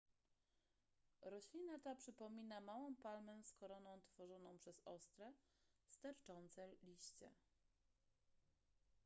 roślina ta przypomina małą palmę z koroną tworzoną przez ostre sterczące liście